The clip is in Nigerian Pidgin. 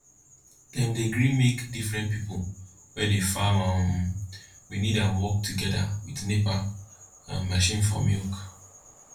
dem dey gree make diffren pipo we dey farm um we need am work togeda wit nepa um machine for milk